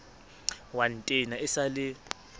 wa ntena e sa le